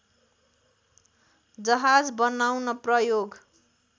जहाज बनाउन प्रयोग